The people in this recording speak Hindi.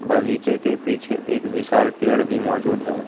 बगीचे के पीछे एक विशाल पेड़ भी मौजूद है।